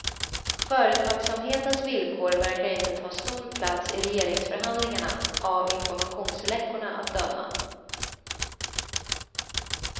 Företagsamhetens villkor verkar inte ta stor plats i regeringsförhandlingarna, av informationsläckorna att döma.